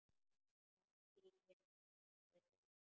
Sama segi ég sagði Lúlli.